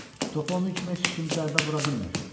Topa onun kimi heç kim zərbə vura bilmir.